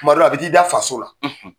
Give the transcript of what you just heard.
Kuma dɔ la a bɛ t'i da faso la.